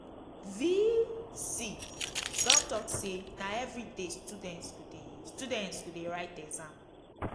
v.c don talk say na everyday students go dey students go dey write exam